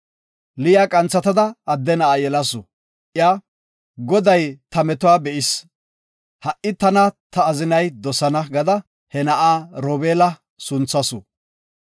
Liya qanthatada adde na7a yelasu. Iya, “Goday ta metuwa be7is, ha7i tana ta azinay dosana” gada he na7a Robeela gada sunthasu.